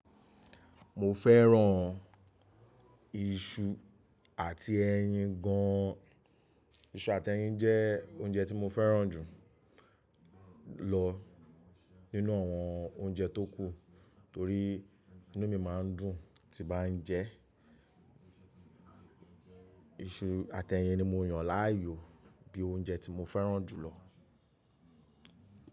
Mo fẹ́ràn iṣu àti ẹyin gan an. Iṣu àti ẹyin jẹ́ oúnjẹ tí mo fẹ́ràn jù lọ nínú àwọn oúnjẹ tó kù torí inú mi máa ń dùn tí bá ń jẹ. Iṣu àti ẹyin ni mo yàn láàyò bí i oúnjẹ tí mo fẹ́ràn jù lọ.